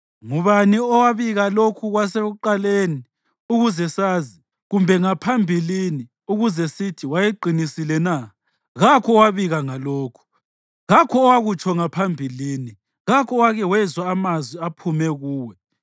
Ngubani owabika lokhu kwasekuqaleni, ukuze sazi, kumbe ngaphambilini ukuze sithi, ‘Wayeqinisile na’? Kakho owabika ngalokhu, kakho owakutsho ngaphambilini, kakho owake wezwa amazwi aphuma kuwe.